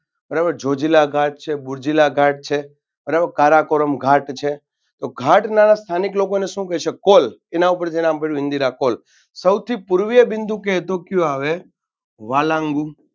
બરાબર છે જોજીલા ઘાટ છે કારાકોરમ ઘાટ છે તો ઘાટના સ્થાનિક લોકો શું કેશે call એના ઉપરથી નામ પડ્યું ઇન્દિરા call સૌથી પૂર્વીય બિંદુ કે તો કયું આવે વાલાન્ગુ